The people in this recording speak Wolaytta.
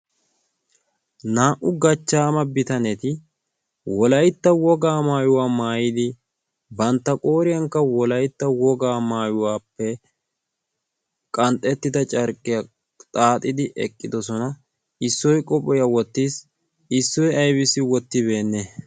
naa"u gachchaama bitaneti wolaytta wogaa maayuwaa maayidi bantta qooriyaankka wolaytta wogaa maayuwaappe qanxxettida carqqiyaa xaaxidi eqqidosona issoy qohphiyaa wottiis issoy aybiisi wottibeenne